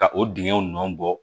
Ka o dingɛw nɔn bɔ